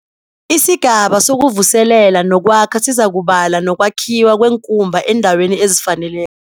Isigaba sokuvuselela nokwakha sizakubala nokwakhiwa kweenkumba eendaweni ezifaneleko.